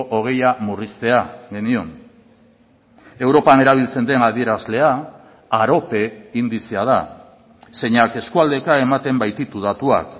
hogeia murriztea genion europan erabiltzen den adierazlea arope indizea da zeinak eskualdeka ematen baititu datuak